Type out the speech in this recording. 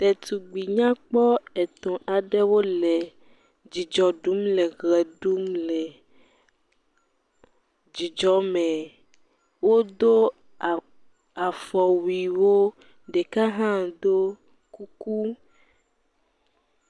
Ɖetugbui nyakpɔ etɔ̃ aɖewo le dzidzɔ ɖum, le ɣe ɖum le dzidzɔ me, o do afɔwui wo, ɖeka hã do kuku.